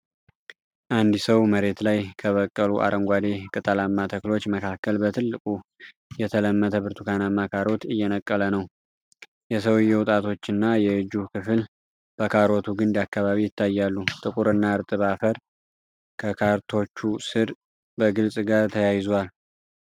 አንድ ሰው መሬት ላይ ከበቀሉ አረንጓዴ ቅጠላማ ተክሎች መካከል በትልቁ የተመለተ ብርቱካንማ ካሮት እየነቀለ ነው። የሰውየው ጣቶችና የእጁ ክፍል በካሮቱ ግንድ አካባቢ ይታያሉ። ጥቁርና እርጥብ አፈር ከካሮቶቹ ሥር በግልጽጋር ተያይዟል።